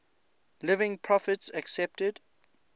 living prophets accepted